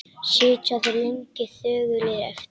Sitja þeir lengi þögulir eftir.